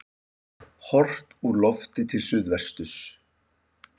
Horft úr lofti til suðvesturs.